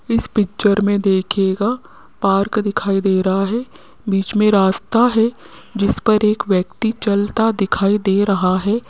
इस पिक्चर में देखिएगा पार्क दिखाई दे रहा है बीच में रास्ता है जिस पर एक व्यक्ति चलता दिखाई दे रहा है।